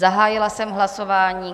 Zahájila jsem hlasování.